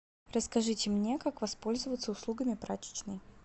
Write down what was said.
расскажите мне как воспользоваться услугами прачечной